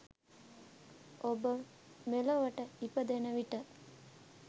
ඔබ මෙලොවට ඉපදෙන විට